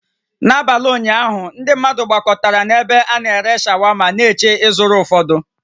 N'abalị ụnyaahụ, ndị mmadụ gbakọtara na ebe ana-ere shawama na-eche ịzụrụ ụfọdụ